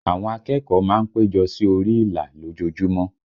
Àwọn akẹ́kọ̀ọ́ má ń péjọ sí orí ìlà lójoojúmọ́